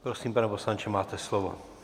Prosím, pane poslanče, máte slovo.